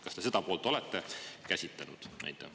Kas te seda poolt olete käsitlenud?